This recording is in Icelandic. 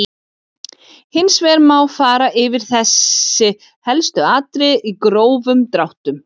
Hins vegar má fara yfir þessi helstu atriði í grófum dráttum.